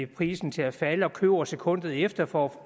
prisen til at falde og køber sekundet efter for